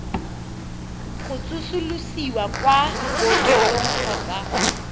go tsosolosiwa kwa bookelong kgotsa